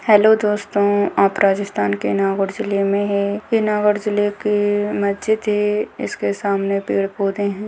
Hello दोस्तों आप राजस्थान के नागौर जिले में है ये नागौर जिले की मस्जिद है इसके सामने पेड़-पौधे हैं।